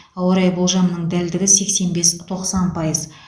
ауа райы болжамының дәлдігі сексен бес тоқсан пайыз